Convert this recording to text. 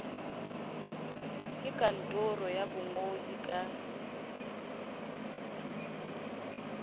ke kantoro ya bongodi ka